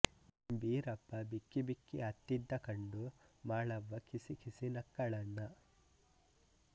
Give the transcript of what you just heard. ಬೀರಪ್ಪ ಬಿಕ್ಕಿ ಬಿಕ್ಕಿ ಅತ್ತಿದ್ದ ಕಂಡು ಮಾಳವ್ವ ಕಿಸಿಕಿಸಿ ನಕ್ಕಳಣ್ಣ